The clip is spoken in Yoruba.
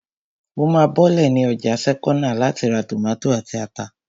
Mo máa bọ́lẹ̀ ní ọjà sẹ́kọ́nà láti ra tòmátò àti ata